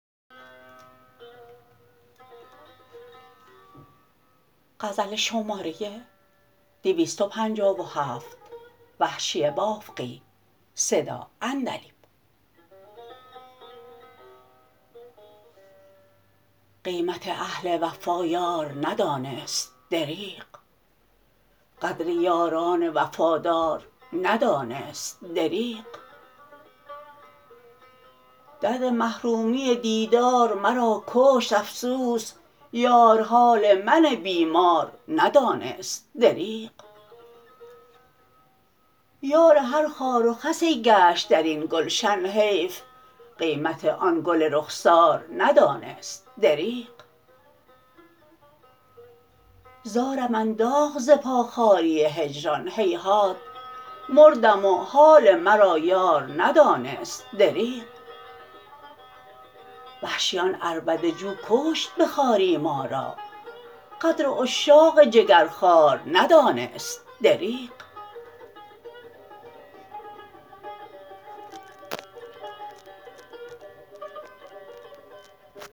قیمت اهل وفا یار ندانست دریغ قدر یاران وفادار ندانست دریغ درد محرومی دیدار مرا کشت افسوس یار حال من بیمار ندانست دریغ یار هر خار و خسی گشت درین گلشن حیف قیمت آن گل رخسار ندانست دریغ زارم انداخت ز پا خواری هجران هیهات مردم و حال مرا یار ندانست دریغ وحشی آن عربده جو کشت به خواری ما را قدر عشاق جگرخوار ندانست دریغ